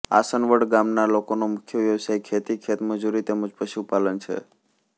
આસનવડ ગામના લોકોનો મુખ્ય વ્યવસાય ખેતી ખેતમજૂરી તેમ જ પશુપાલન છે